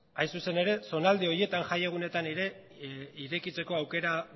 hain zuzen ere zonalde horietan jaiegunetan ere irekitzeko aukera